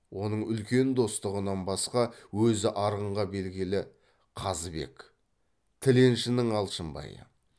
оның үлкен достығынан басқа өзі арғынға белгілі қазыбек тіленшінің алшынбайы